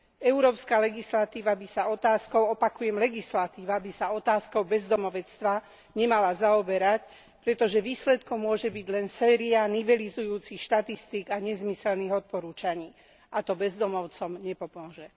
Európska legislatíva by sa otázkou, opakujem legislatíva, by sa otázkou bezdomovstva nemala zaoberať, pretože výsledkom môže byť len séria nivelizujúcich štatistík a nezmyselných odporúčaní, a to bezdomovcom nepomôže.